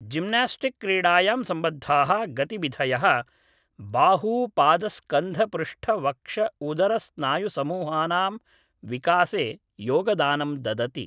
gymnastic क्रीडायां सम्बद्धाः गतिविधयः बाहूपादस्कन्धपृष्ठवक्षउदरस्नायुसमूहानां विकासे योगदानं ददति